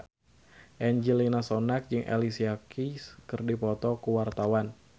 Angelina Sondakh jeung Alicia Keys keur dipoto ku wartawan